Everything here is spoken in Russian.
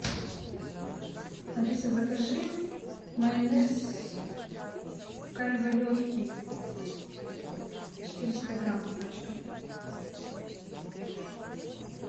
алиса закажи майонез кальве легкий четыреста грамм пачка